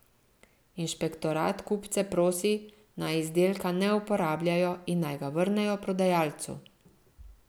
Inšpektorat kupce prosi, naj izdelka ne uporabljajo in naj ga vrnejo prodajalcu.